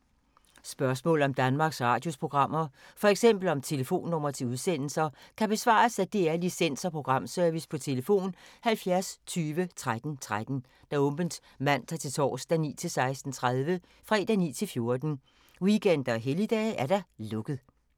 Spørgsmål om Danmarks Radios programmer, f.eks. om telefonnumre til udsendelser, kan besvares af DR Licens- og Programservice: tlf. 70 20 13 13, åbent mandag-torsdag 9.00-16.30, fredag 9.00-14.00, weekender og helligdage: lukket.